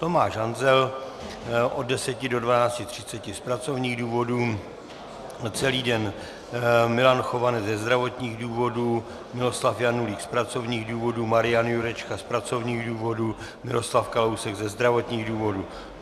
Tomáš Hanzel od 10.00 do 12.30 z pracovních důvodů, celý den Milan Chovanec ze zdravotních důvodů, Miloslav Janulík z pracovních důvodů, Marian Jurečka z pracovních důvodů, Miroslav Kalousek ze zdravotních důvodů.